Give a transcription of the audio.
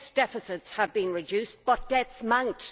Yes, deficits have been reduced, but debts mount.